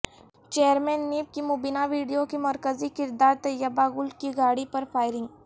chairman NAB کی مبینہ video کی مرکزی کردار طیبہ گل کی گاڑی پر فائرنگ